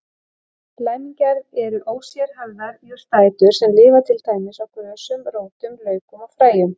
Læmingjar eru ósérhæfðar jurtaætur sem lifa til dæmis á grösum, rótum, laukum og fræjum.